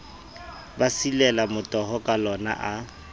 ba silela motoho kalona a